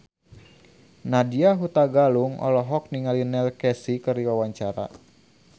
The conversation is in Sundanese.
Nadya Hutagalung olohok ningali Neil Casey keur diwawancara